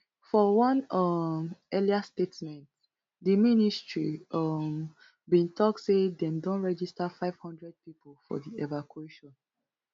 for one um earlier statement di ministry um bin tok say dem don register five hundred pipo for di evacuation